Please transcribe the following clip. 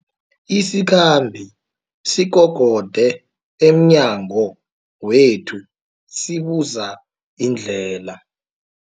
Isikhambi sikokode emnyango wethu sibuza indlela.